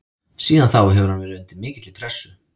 Síðan þá hefur hann verið undir mikilli pressu.